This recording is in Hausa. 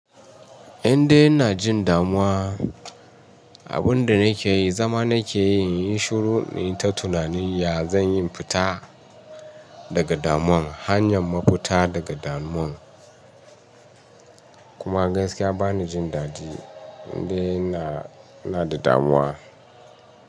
Indai ina jin damuwa, abin da nake yi, zama nake yi in yi shiru in ta tunani ya zan yi in fita daga damuwan. Hanyan mafita daga damuwan kuma gaskiya bani jin dadi indai ina, ina da damuwa.